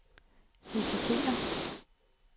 risikerer